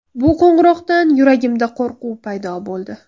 Bu qo‘ng‘iroqdan yuragimda qo‘rquv paydo bo‘ldi.